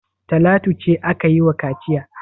Talatu ce aka yi wa kaciya?